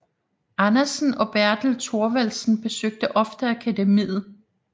Andersen og Bertel Thorvaldsen besøgte ofte akademiet